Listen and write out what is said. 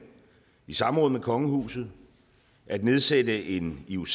i samråd med kongehuset at nedsætte en ioc